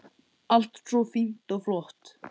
Allt svo fínt og flott.